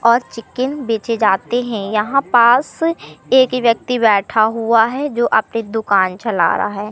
और चिकन बेचे जाते है यहां पास एक व्यक्ति बैठा हुआ है जो अपनी दुकान चला रहा है।